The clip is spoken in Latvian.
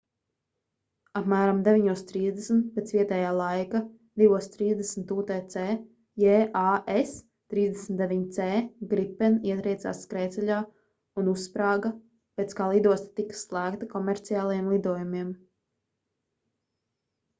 apmēram 9:30 pēc vietējā laika 2:30 utc jas 39c gripen ietriecās skrejceļā un uzsprāga pēc kā lidosta tika slēgta komerciālajiem lidojumiem